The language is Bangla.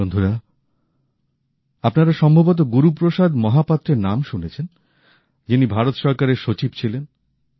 বন্ধুরা আপনারা সম্ভবত গুরুপ্রসাদ মহাপাত্রের নাম শুনেছেন যিনি ভারত সরকারের সচিব ছিলেন